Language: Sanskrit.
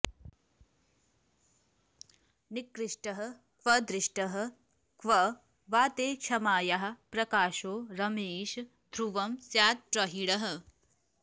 निकृष्टः क्व दृष्टः क्व वा ते क्षमायाः प्रकाशो रमेष ध्रुवं स्यात्प्रहीणः